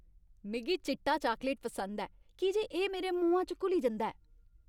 मिगी चिट्टा चाकलेट पसंद ऐ की जे एह् मेरे मुहां च घुली जंदा ऐ।